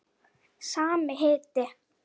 Sami hiti.